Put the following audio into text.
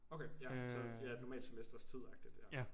Okay ja så ja et normalt semesters tidagtigt ja